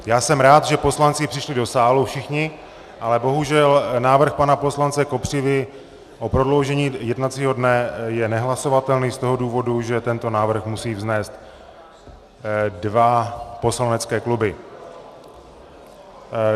Já jsem rád, že poslanci přišli do sálu všichni, ale bohužel návrh pana poslance Kopřivy o prodloužení jednacího dne je nehlasovatelný z toho důvodu, že tento návrh musí vznést dva poslanecké kluby.